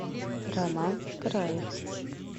роман краев